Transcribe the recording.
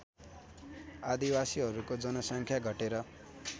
आदिवासीहरूको जनसङ्ख्या घटेर